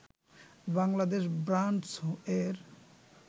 Bangladesh ব্রান্ডস-এর